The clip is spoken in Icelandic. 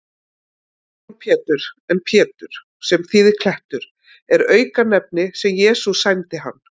Símon Pétur, en Pétur, sem þýðir klettur, er auknefni sem Jesús sæmdi hann.